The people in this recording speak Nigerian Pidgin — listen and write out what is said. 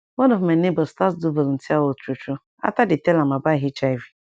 one of my neighbors start do volunteer work true true after dey tell am about hiv